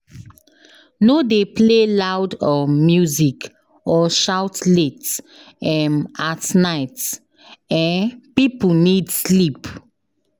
No dey play loud um music or shout late um at night, um people need sleep.